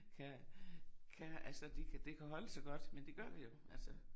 Kan kan altså de kan det kan holde så godt men det gør det jo altså